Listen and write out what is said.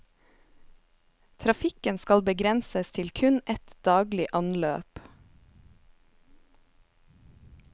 Trafikken skal begrenses til kun ett daglig anløp.